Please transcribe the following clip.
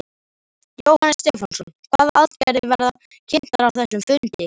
Jóhannes Stefánsson: Hvaða aðgerðir verða kynntar á þessum fundi?